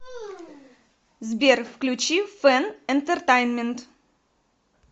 сбер включи фэн энтертайнмент